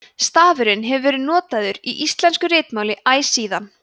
stafurinn hefur verið notaður í íslensku ritmáli æ síðan